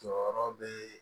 Jɔyɔrɔ be yen